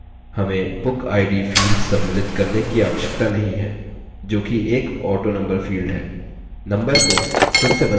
साथ ही हमें bookid field सम्मिलित करने की आवश्यकता नहीं है जोकि एक autonumber field है